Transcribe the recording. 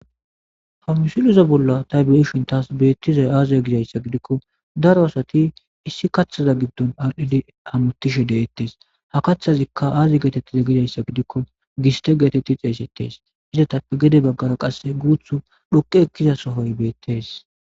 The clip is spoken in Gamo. ha musuluza bolla ta beishin taas beettizay aaziya gidayssa gidikko daro asati issi kaththaza giddon ardhedi hamotishe deettes ha kaththazikka aazi geetettiza gidayssa gidikko giste geetetti xeesettes izatappe gede baggara qasse guuth dhoqe ekkiza sohoy beettes